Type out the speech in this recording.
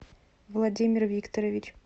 владимир викторович